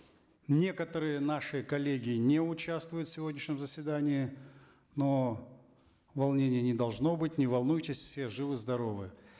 некоторые наши коллеги не участвуют в сегодняшнем заседании но волнения не должно быть не волнуйтесь все живы здоровы